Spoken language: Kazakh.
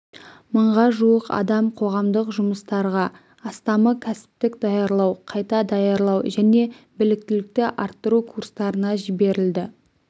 мыңға жуық адам қоғамдық жұмыстарға астамы кәсіптік даярлау қайта даярлау және біліктілікті арттыру курстарына жіберілді